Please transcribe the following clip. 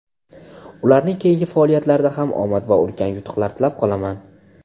Ularning keyingi faoliyatlarida ham omad va ulkan yutuqlar tilab qolaman!.